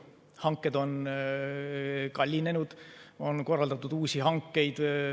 Hanked on kallinenud ja on korraldatud uusi hankeid.